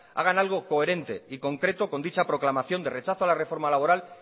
hagan algo coherente y concreto con dicha proclamación de rechazo a la reforma laboral